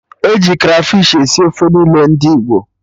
Eji krafish esi ofe niile ndị Naịjirịa